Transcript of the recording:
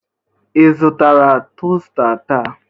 Ị zụtara tosta taa?